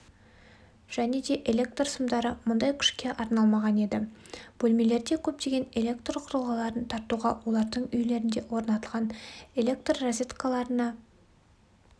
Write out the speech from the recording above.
және де электрсымдары мұндай күшке арналмаған еді бөлмелерде көптеген электрқұрылғыларын тартуға олардың үйлерінде орнатылған электррозеткаларына